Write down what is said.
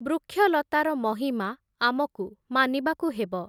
ବୃକ୍ଷଲତାର ମହିମା, ଆମକୁ ମାନିବାକୁ ହେବ ।